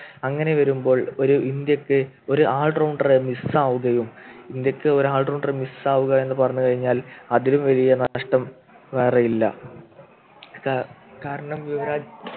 അങ്ങനെ വരുമ്പോൾ ഒരു ഇന്ത്യക്ക് ഒരു allrounder രെ Miss ആവുകയും ഇന്ത്യയ്ക്ക് ഒരു allrounder Miss ആവുക എന്ന് പറഞ്ഞു കഴിഞ്ഞാൽ അതിലും വലിയ നഷ്ടം വേറെയില്ല കാ കാരണം യുവരാജ്